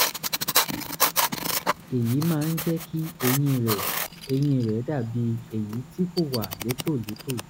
èyí máa ń jẹ́ kí eyín rẹ̀ eyín rẹ̀ dàbí èyí tí kò wà létòlétò